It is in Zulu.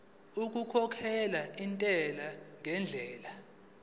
okukhokhela intela ngendlela